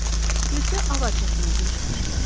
Bircə avar çəkməyə girişmişdilər.